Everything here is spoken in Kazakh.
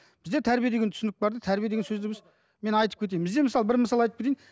бізде тәрбие деген түсінік бар да тәрбие деген сөзді біз мен айтып кетейін бізде мысал бір мысал айтып кетейін